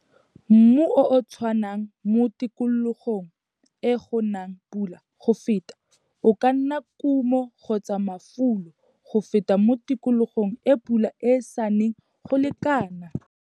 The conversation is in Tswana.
Mmu o o tshwanang mo tikologong e go nang pula go feta o ka nna kumo kgotsa mafulo go feta mo tikologong e pula e sa neng go lekana.